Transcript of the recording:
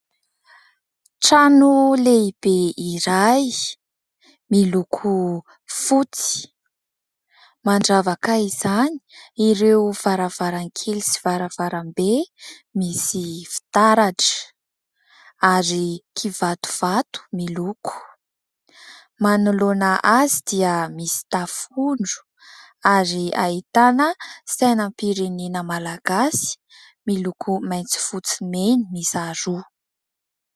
Trano lehibe iray miloko fotsy. Mandravaka izany ireo varavarankely sy varavarambe misy fitaratra ary kivatovato miloko. Manoloana azy dia misy tafondro ary ahitana sainam-pirenena malagasy miloko maitso, fotsy, mena miisa roa.